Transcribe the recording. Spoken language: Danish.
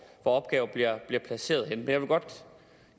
opgaver bliver placeret henne vil godt